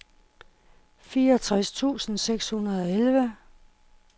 fireogtres tusind seks hundrede og elleve